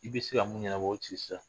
I bɛ se mun ɲɛnabɔ o ci sa